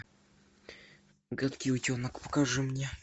гадкий утенок покажи мне